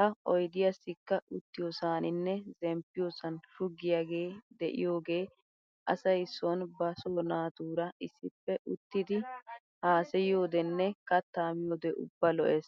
Ha oydiyaassikka uttiyoosaaninne zemppiyosan shuggiyaagee de'iyoogee asay son ba so naatura issippe uttidi haasayiyoodenne kattaa miyode ubba lo'es.